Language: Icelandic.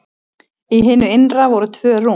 Í hinu innra voru tvö rúm.